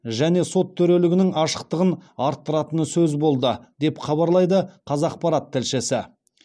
және сот төрелігінің ашықтығын арттыратыны сөз болды деп хабарлайды қазақпарат тілшісі